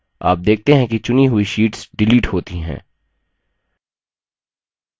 आप देखते हैं कि चुनी हुई शीट्स डिलीट होती हैं